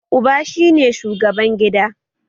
Uba shi ne shugaban gida